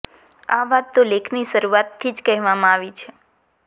આ વાત તો લેખની શરૂઆતથી જ કહેવામાં આવી છે